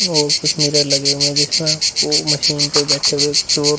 और कुछ मिरर लगे हुए हैं जिसपे ओ मशीन पे बैठे हुए कुछ और --